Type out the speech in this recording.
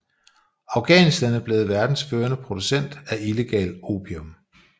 Afghanistan er blevet verdens førende producent af illegal opium